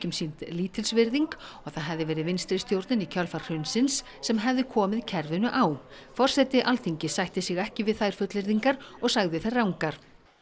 sýnd lítilsvirðing og það hefði verið vinstristjórnin í kjölfar hrunsins sem hefði komið kerfinu á forseti Alþingis sætti sig ekki við þær fullyrðingar og sagði þær rangar